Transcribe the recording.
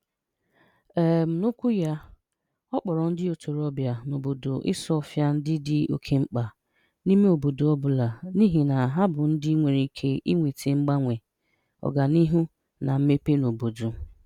um N'okwu ya, ọ kpọrọ ndị ntorobịa n'obodo Isuọfia ndị dị oké mkpa n'ime obodo ọ bụla, n'ihi na bụ ndị nwere ike iweta mgbanwe, ọganihu na mmepe n'obodo.